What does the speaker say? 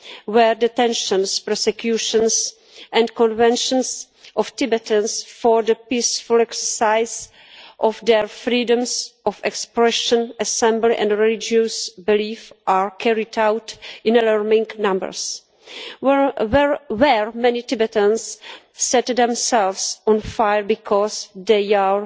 where detentions, prosecutions and convictions of Tibetans for the peaceful exercise of their freedoms of expression, assembly and religious belief are carried out in alarming numbers where many Tibetans set themselves on fire because they are